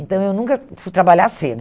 Então, eu nunca fui trabalhar cedo.